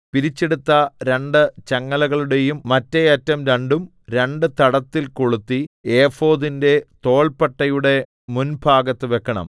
പിരിച്ചെടുത്ത രണ്ട് ചങ്ങലകളുടെയും മറ്റേഅറ്റം രണ്ടും രണ്ട് തടത്തിൽ കൊളുത്തി ഏഫോദിന്റെ തോൾപ്പട്ടയുടെ മുൻഭാഗത്ത് വെക്കണം